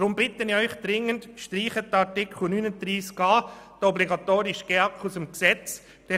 Deshalb bitte ich Sie dringend, den Artikel 39a, also den obligatorischen GEAK, aus dem Gesetz zu streichen.